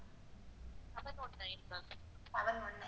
Seven one nine,